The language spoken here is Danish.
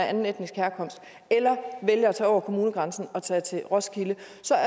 anden etnisk herkomst eller vælge at tage over kommunegrænsen og tage til roskilde